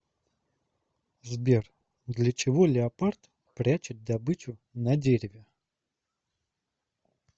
сбер для чего леопард прячет добычу на дереве